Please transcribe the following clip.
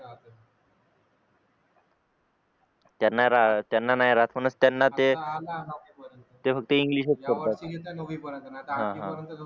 त्यांना नाही राहत म्हणूनच त्यांना ते ते फक्त इंग्लिश च करतात